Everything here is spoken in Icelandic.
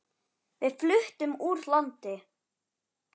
Við fluttum úr landi.